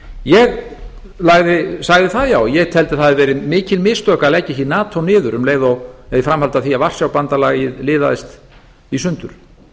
ég sagði það já að ég teldi að það hefðu verið mikil mistök að leggja ekki nato niður í framhaldi af því að varsjárbandalagið liðaðist í sundur